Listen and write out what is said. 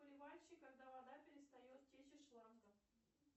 поливальщик когда вода перестает течь из шланга